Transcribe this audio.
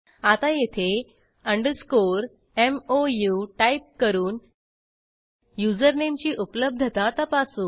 आता येथे underscore मोऊ टाईप करून युजरनेमची उपलब्धता तपासू